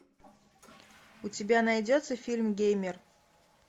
у тебя найдется фильм геймер